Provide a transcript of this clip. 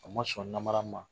A ma sɔn namara ma.